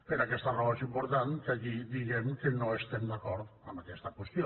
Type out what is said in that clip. per aquesta raó és important que aquí diguem que no estem d’acord amb aquesta qüestió